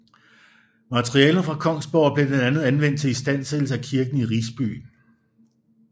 Materialerne fra Kongsborg blev blandt andet anvendt til istandsættelse af kirken i Risby